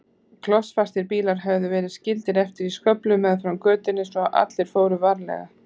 Klossfastir bílar höfðu verið skildir eftir í sköflunum meðfram götunni svo allir fóru varlega.